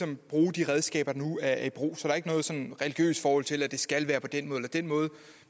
vil bruge de redskaber der nu er i brug så der er ikke noget sådan religiøst forhold til at det skal være på den eller den måde